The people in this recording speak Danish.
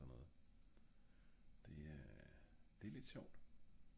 alt sådan noget det er det lidt sjovt